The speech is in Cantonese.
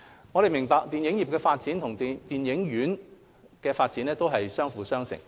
我們明白，電影業發展與電影院發展相輔相成。